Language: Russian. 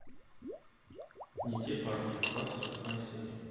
не те парни двадцать восьмая серия